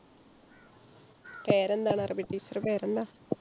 പേരെന്താണ്. അറബി teacher ടെ പേരെന്താ?